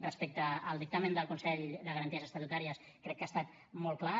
respecte al dictamen del consell de garanties estatutàries crec que ha estat molt clar